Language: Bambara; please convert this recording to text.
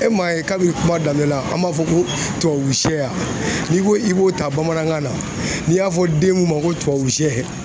E m'a ye kabini kuma daminɛ la an b'a fɔ ko tubabu sɛ n'i ko i b'o ta bamanankan na n'i y'a fɔ den mun ma ko tubabu sɛ